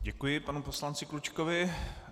Děkuji panu poslanci Klučkovi.